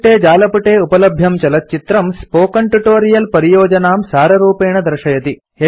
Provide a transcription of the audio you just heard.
अधोनिर्दिष्टे जालपुटे उपलभ्यं चलच्चित्रम् स्पोकेन ट्यूटोरियल् परियोजनां साररूपेण दर्शयति